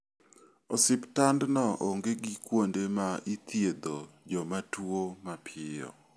Osiptandno onge gi kuonde ma ithiedho joma tuo mapiyo.